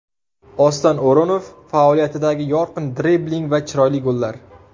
Oston O‘runov faoliyatidagi yorqin dribling va chiroyli gollar !